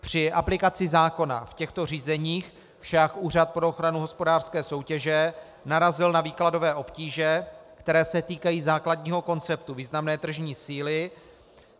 Při aplikaci zákona v těchto řízeních však Úřad pro ochranu hospodářské soutěže narazil na výkladové obtíže, které se týkají základního konceptu významné tržní síly.